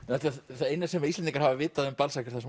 það eina sem Íslendingar hafa vitað um Balzac er það sem